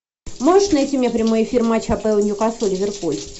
можешь найти мне прямой эфир матча апл ньюкасл ливерпуль